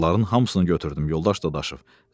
Narların hamısını götürdüm, yoldaş Dadaşov.